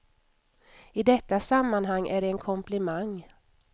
I detta sammanhang är det en komplimang.